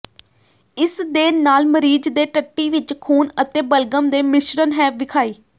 ਇਸ ਦੇ ਨਾਲ ਮਰੀਜ਼ ਦੇ ਟੱਟੀ ਵਿੱਚ ਖੂਨ ਅਤੇ ਬਲਗਮ ਦੇ ਮਿਸ਼ਰਣ ਹੈ ਵਿਖਾਈ